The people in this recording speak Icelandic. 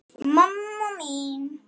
mamma mín